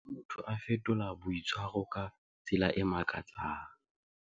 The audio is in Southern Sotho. Ha motho a fetola boitshwaro ka tsela e makatsang.